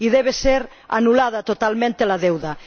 Y debe ser condonada totalmente la deuda.